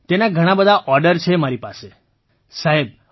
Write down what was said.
તેના ઘણા બધા ઑર્ડર છે મારી પાસે સાહેબ